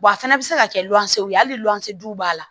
Wa a fana bɛ se ka kɛ lɔngɔn ye hali lɔnze du b'a la